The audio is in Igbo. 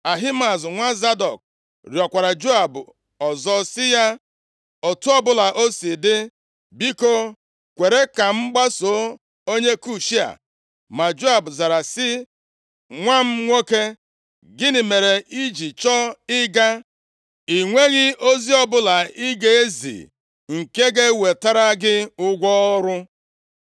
Ahimaaz nwa Zadọk rịọkwara Joab ọzọ sị ya, “Otu ọbụla o si dị, biko kwere ka m gbaso onye Kush a.” Ma Joab zara sị, “Nwa m nwoke, gịnị mere i ji chọọ ị ga? I nweghị ozi ọbụla ị ga-ezi nke ga-ewetara gị ụgwọ ọrụ.”